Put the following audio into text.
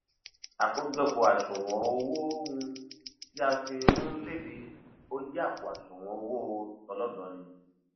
àkójọpọ àṣùwọn owó um tí a fi um léde ó jẹ àpò àṣùwọn owó tọlọdọọni